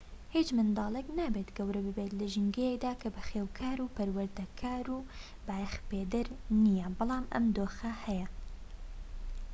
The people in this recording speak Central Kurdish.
هیچ منداڵێك نابێت گەورە ببێت لە ژینگەیەکدا کە بەخێوکار و پەروەردەکار و بایەخپێدەر نیە بەڵام ئەم دۆخە هەیە